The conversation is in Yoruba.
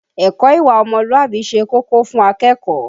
Ẹ̀kọ́ ìwà ọmọlúwàbí ṣe kókó fún akẹ́kọ̀ọ́.